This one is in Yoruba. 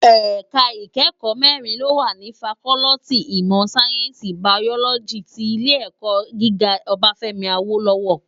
Èká ikèékò mèrín ló wá ni fákòlìtí imò sáyènsí bàyólòjí ti Ilé èkò gigá Obafemi Awolowo